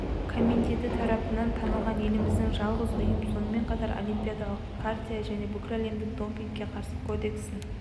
комитеті тарапынан танылған еліміздегі жалғыз ұйым сонымен қатар олимпиадалық хартия мен бүкіләлемдік допингке қарсы кодексін